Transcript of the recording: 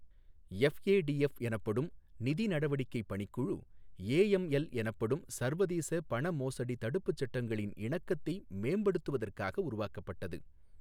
FATF எனப்படும் நிதி நடவடிக்கை பணிக்குழு ஏஎம்எல் எனப்படும் சர்வதேச பணமோசடி தடுப்பு சட்டங்களின் இணக்கத்தை மேம்படுத்துவதற்காக உருவாக்கப்பட்டது.